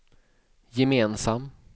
gemensam